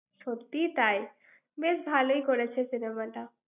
সত্যিই তাই। বেশ ভালই করেছে cinema টা।